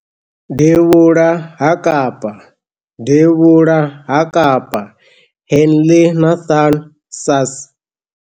Devhula ha Kapa, Devhula ha Kapa - Henley Nathan Sass.